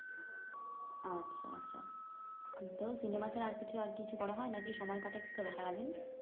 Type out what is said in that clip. আচ্ছা, আচ্ছা তো সিনেমা ছাড়া আর কিছু আর কিছু করা হয় নাকি সময় কাটে কি করে সারাদিন?